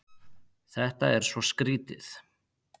Þetta er svo skrýtið.